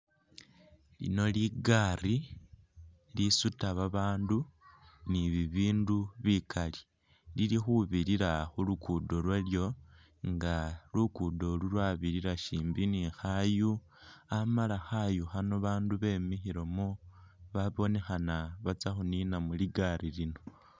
Lino ligari lisuta babandu ni bibindu bikali lili khubirira khulugudo lwalyo nga lugudolu lwabirira shimbi ni khayu amala khayu khano bandu bemikhilemo babonekhana batsa’khunina muligari lino.